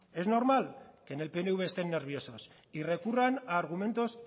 es normal que en pnv estén nerviosos y recurran a argumentos